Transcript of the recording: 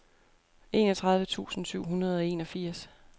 enogtredive tusind syv hundrede og enogfirs